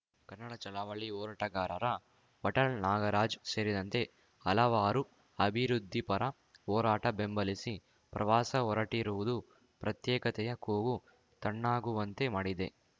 ಕನ್ನಡ ಚಳವಳಿ ಹೋರಾಟಗಾರರ ವಾಟಾಳ್‌ ನಾಗರಾಜ್‌ ಸೇರಿದಂತೆ ಹಲವಾರು ಅಭಿವೃದ್ಧಿಪರ ಹೋರಾಟ ಬೆಂಬಲಿಸಿ ಪ್ರವಾಸ ಹೊರಟಿರುವುದು ಪ್ರತ್ಯೇಕತೆಯ ಕೂಗು ತಣ್ಣಗುವಂತೆ ಮಾಡಿದೆ